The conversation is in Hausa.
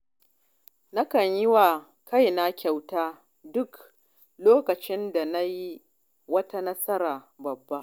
Nakan ba wa kaina kyauta duk lokacin da na yi wata nasara babba.